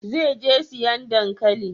Zai je siyan dankalin?